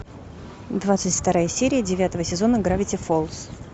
двадцать вторая серия девятого сезона гравити фолз